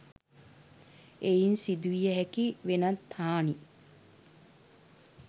එයින් සිදුවිය හැකි වෙනත් හානි